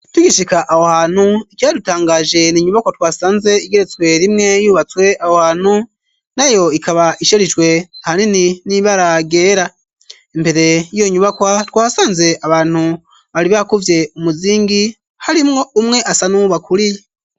Tugishika awo hantu ikyadutangaje n'inyubakwa twasanze igeretswe rimwe yubatswe awo hanu na yo ikaba isharijwe haneni n'ibaragera imbere yiyo nyubakwa twasanze abantu bari bakuvye umuzingi harimwo umwe asa n'uwuba kuriye.